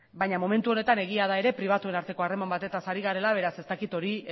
baina momentu honetan egia da ere pribatuen arteko harreman batetaz ari garela beraz ez dakit